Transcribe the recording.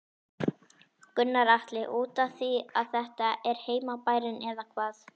Gunnar Atli: Útaf því að þetta er heimabærinn eða hvað?